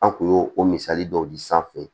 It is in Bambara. An kun y'o o misali dɔw di sanfɛ